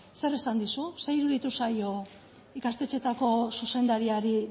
zer esan dizu zer iruditu zaio ikastetxeetako zuzendariari